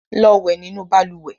Lọ wẹ nínú balùwẹ̀!